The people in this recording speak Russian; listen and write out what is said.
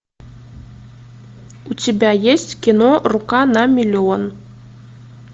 у тебя есть кино рука на миллион